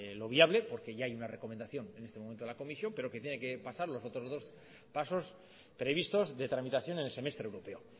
lo obvio porque ya hay una recomendación en este momento en la comisión pero que tiene que pasar los otros dos pasos previstos de tramitación en el semestre europeo